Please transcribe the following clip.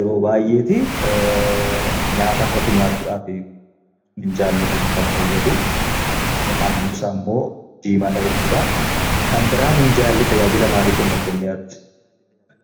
Yeroo baay'ee nyaata irratti nyaachuudhaaf minjaalli kun kan fayyadu. Halluun isaammoo diimaadha jechuudha. Kan biraa minjaalli tajaajila maalii kenna jettanii yaaddu isin?